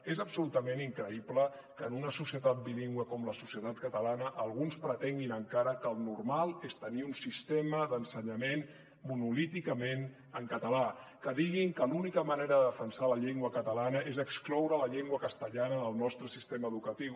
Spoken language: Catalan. és absolutament increïble que en una societat bilingüe com la societat catalana alguns pretenguin encara que el normal és tenir un sistema d’ensenyament monolíticament en català que diguin que l’única manera de defensar la llengua catalana és excloure la llengua castellana del nostre sistema educatiu